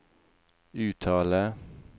uttale